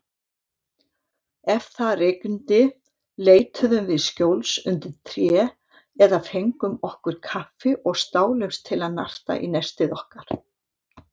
Ef það rigndi leituðum við skjóls undir tré eða við fengum okkur kaffi og stálumst til að narta í nestið okkar.